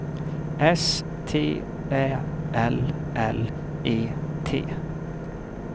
S T Ä L L E T